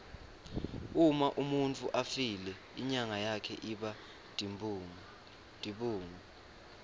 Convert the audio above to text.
uma umuntfu afile inyama yakhe iba tibungu